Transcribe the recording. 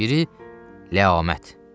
Biri ləamət.